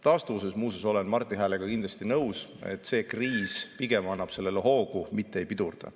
Taastuvuse osas muuseas olen Marti Häälega kindlasti nõus, et see kriis pigem annab sellele hoogu, mitte ei pidurda.